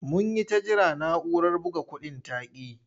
Mun yi ta jira na'urar buga kuɗin ta ƙi yi.